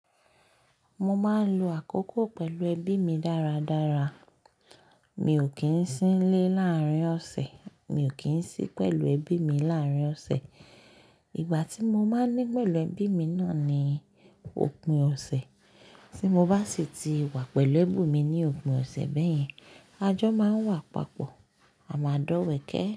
Mo máa ń lo àkókò pẹ̀lú ẹbí mi dáradára. Mi ò kí ń sí n lé láàárín ọ̀sẹ̀, mi ò kí ń sí pẹ̀lú ẹbí mi láàárín ọ̀sẹ̀. Ìgbà tí mo máa ń ní pẹ̀lú ẹbí mi náà ni òpin ọ̀sẹ̀, tí mo bá sì ti wà pẹ̀lú ẹbí mi ní òpin ọ̀sẹ̀ bẹ́yẹn, ajọ máa ń wà papọ̀, a máa dọ̀wẹ̀kẹ́